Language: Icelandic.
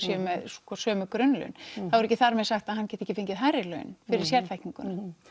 með sömu grunnlaun er ekki þar með sagt að hann geti ekki fengið hærri laun fyrir sérþekkingu